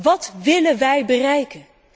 Wat willen wij bereiken?